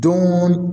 Don